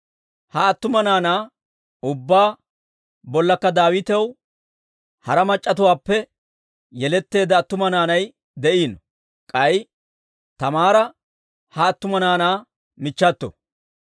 Ha attuma naanaa ubbaa bollakka Daawitaw hara machatuwaappe yeletteedda attuma naanay de'iino; k'ay Taamaara ha attuma naanaa michchato.